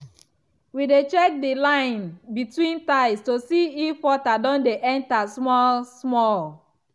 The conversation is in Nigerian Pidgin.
we dey check the line between tiles to see if water don dey enter small-small.